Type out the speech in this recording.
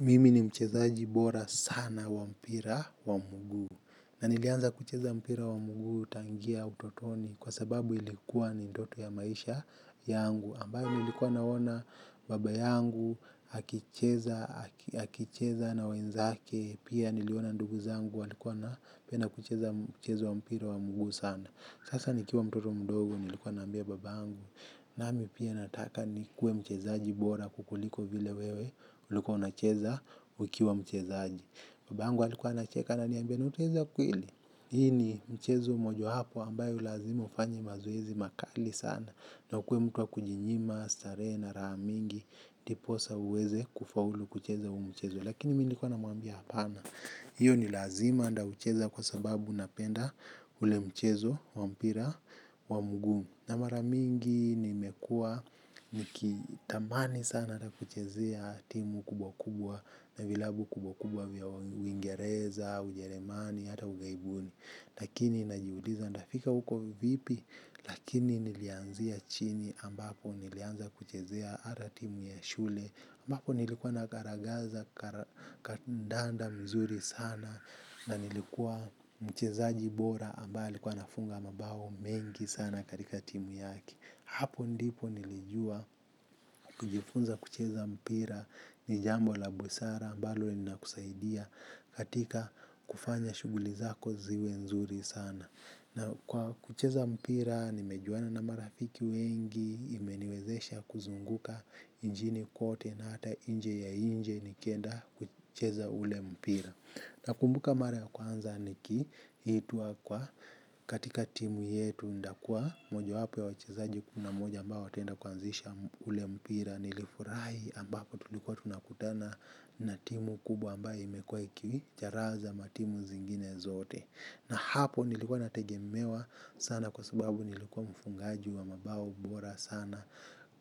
Mimi ni mchezaji bora sana wa mpira wa mguu na nilianza kucheza mpira wa mguu tangia utotoni kwa sababu ilikuwa ni ndoto ya maisha yangu ambayo nilikuwa naona baba yangu aki cheza akicheza na wenzake pia niliona ndugu zangu walikuwa na penda kucheza mchezo wa mpira wa mguu sana. Sasa nikiwa mtoto mdogo nilikuwa naambia baba yangu. Nami pia nataka ni kuwe mchezaji bora kukuliko vile wewe ulikua unacheza ukiwa mchezaji. Babangu alikuwa nacheka ana niambia nautaweza kweli. Hii ni mchezo mojo wapo ambayo lazima ufanyi mazoezi makali sana. Na ukuwe mtu wa kujinyima, stare na raha mingi ndiposa uweze kufaulu kucheza huu mchezo. Lakini mi nikuwa na mwambia hapana. Hiyo ni lazima anda ucheza kwa sababu unapenda ule mchezo wa mpira wa mguu. Na mara mingi nimekuwa nikitamani sana atakuchezea timu kubwa kubwa na vilabu kubwa kubwa vya uingereza, ujeremani, hata ugaibuni. Lakini najiuliza ntafika huko vipi lakini nilianzia chini ambapo nilianza kuchezea atatimu ya shule ambapo nilikuwa nagaragaza kandanda mzuri sana na nilikuwa mchezaji bora ambae alikuwa anafunga mabao mengi sana katika timu yake. Hapo ndipo nilijua kujifunza kucheza mpira ni jambo la busara ambalo lina kusaidia katika kufanya shughuli zako ziwe nzuri sana. Na kwa kucheza mpira nimejuana na marafiki wengi imeniwezesha kuzunguka nchini kote na hata inje ya inje nikenda kucheza ule mpira. Na kumbuka mara ya kwanza nikiitwa kwa katika timu yetu ndakua moja wapo ya wachezaji kumi na moja ambao watenda kuanzisha ule mpira nilifurahi ambapo tulikuwa tunakutana na timu kubwa ambayo imekuwa iki charaza matimu zingine zote. Na hapo nilikuwa nategemewa sana kwa sababu nilikuwa mfungaji wa mabao bora sana.